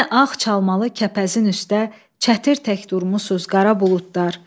Yenə ağ çalmalı kəpəzin üstdə çətir tək durmusuz qara buludlar.